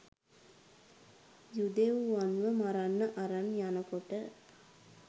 යුදෙව්වන්ව මරන්න අරන් යනකොට